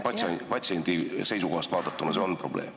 Patsiendi seisukohast vaadatuna on see probleem.